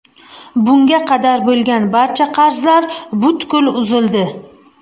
Bunga qadar bo‘lgan barcha qarzlar butkul uzildi.